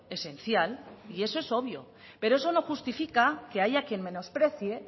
esencial y eso es obvio pero eso no justifica que haya quien menosprecie